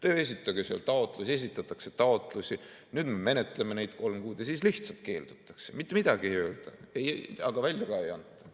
Öeldakse, et esitage taotlus, esitatakse taotlusi, nüüd menetletakse neid kolm kuud, ja siis lihtsalt keeldutakse, mitte midagi ei öelda, aga välja ka ei anta.